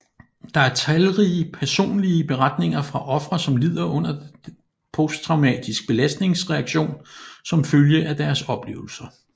Der er talrige personlige beretninger fra ofre som lider under posttraumatisk belastningsreaktion som følge af deres oplevelser